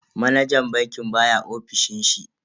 Manajan bankin baya ofishin shi.